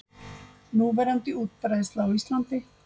Núverandi útbreiðsla á Íslandi